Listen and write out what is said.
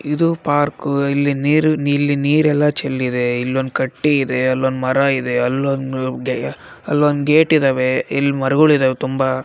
ಇದು ಪಾರ್ಕು ಇಲ್ಲಿ ನೀರ್ ಇಲ್ಲಿ ನೀರೆಲ್ಲ ಚೆಲ್ಲಿದೆ ಇಲ್ಲೊಂದ ಕಟ್ಟಿ ಇದೆ ಅಲ್ಲೊಂದು ಮರ ಇದೆ ಅಲ್ಲೊಂದು ಗೆ ಅಲ್ಲೊಂದು ಗೇಟ್ ಇದ್ದಾವೆ ಇಲ್ಲಿ ಮರಗಳು ಇದ್ದಾವೆ ತುಂಬಾ.